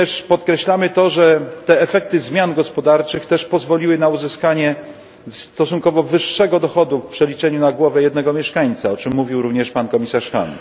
Podkreślamy to, że efekty zmian gospodarczych pozwoliły również na uzyskanie stosunkowo wyższego dochodu w przeliczeniu na głowę jednego mieszkańca, o czym mówił również pan komisarz Hahn.